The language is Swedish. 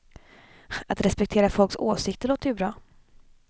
Att respektera folks åsikter låter ju bra.